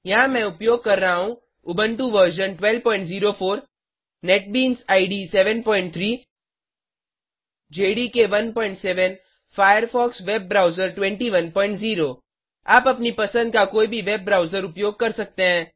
यहाँ मैं उपयोग कर रहा हूँ Ubuntu version 1204 NetBeans IDE 73 JDK 17 Firefox web browser 210 आप अपनी पसंद का कोई भी वेब ब्राउज़र उपयोग कर सकते हैं